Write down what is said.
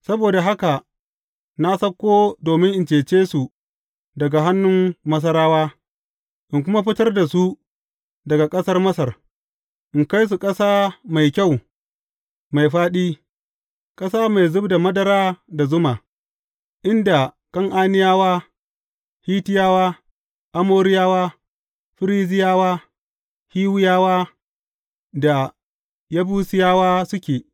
Saboda haka na sauko domin in cece su daga hannun Masarawa, in kuma fitar da su daga ƙasar Masar, in kai su ƙasa mai kyau mai fāɗi, ƙasa mai zub da madara da zuma, inda Kan’aniyawa, Hittiyawa, Amoriyawa, Ferizziyawa, Hiwiyawa da Yebusiyawa suke.